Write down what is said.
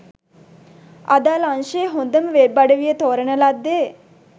අදාල අංශයේ හොඳම වෙබ් අඩවිය තෝරන ලද්දේ